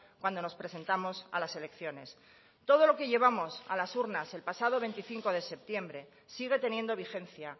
cuando nos presentamos a las elecciones todo lo que llevamos a las urnas el pasado veinticinco de septiembre sigue teniendo vigencia